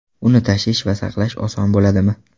Uni tashish va saqlash oson bo‘ladimi?